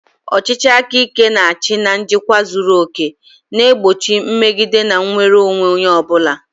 Ọchịchị aka ike na-achị na njikwa zuru oke, na-egbochi mmegide na nnwere onwe onye ọ bụla.